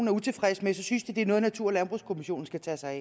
er utilfreds med synes det er noget natur og landbrugskommissionen skal tage sig